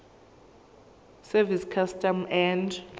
service customs and